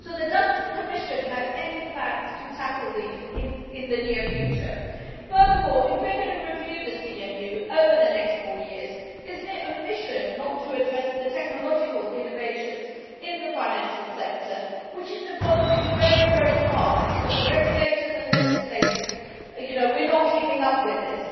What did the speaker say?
Does the Commission have any plans to tackle these in the near future? Furthermore, if we are going to review the CMU over the next four years, is it not an omission not to address the technological innovations in the financial sector? This is evolving very fast, but the regulators and legislators are not keeping up with it.